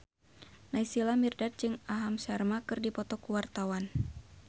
Naysila Mirdad jeung Aham Sharma keur dipoto ku wartawan